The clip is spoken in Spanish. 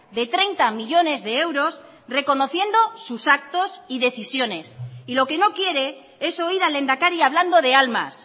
de treinta millónes de euros reconociendo sus actos y decisiones y lo que no quiere es oír al lehendakari hablando de almas